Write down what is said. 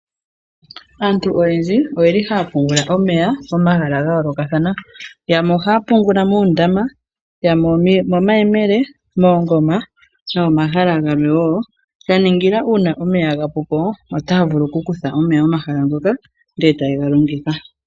Aantu oyendji oyeli haya pungula omeya momahala gayoolokathana yamwe ohaya pungula muundama, yamwe omo mayemele, moongoma nomomahala gamwe wo. Ya ningila kutya uuna omeya gapupo otaya vulu okukutha omeya momahala ngoka etayega longitha.